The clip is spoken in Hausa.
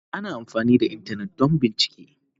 Ana amfani da Intanet don bincike.